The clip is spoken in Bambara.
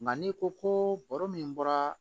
Nka n'i ko ko baro min bɔra